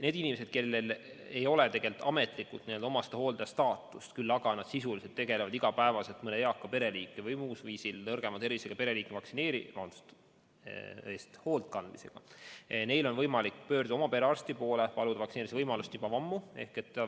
Nendel inimestel, kellel ei ole ametlikult omastehooldaja staatust, aga kes sisuliselt iga päev mõne eaka pereliikme või muul põhjusel nõrgema tervisega pereliikme eest hoolt kannavad, on juba ammu olnud võimalik pöörduda oma perearsti poole ja paluda võimalust vaktsineerida.